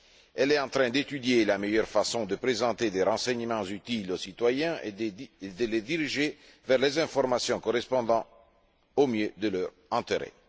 Elle est en train d'étudier la meilleure façon de présenter des renseignements utiles aux citoyens et de les diriger vers les informations correspondant le mieux à leurs intérêts.